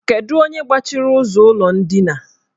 Kedu onye gbachiri ụzọ ụlọ ndina?